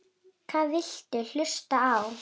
Hvað viltu hlusta á?